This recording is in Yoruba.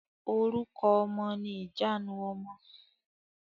Orúkọ ọmọ ni ìjanu ọmọ.